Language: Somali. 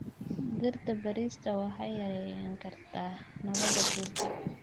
Dhirta beerista waxay yarayn kartaa nabaad guurka.